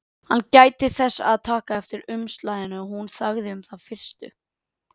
Hann gætti þess að taka ekki eftir umslaginu og hún þagði um það í fyrstu.